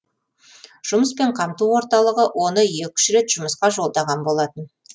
жұмыспен қамту орталығы оны екі үш рет жұмысқа жолдаған болатын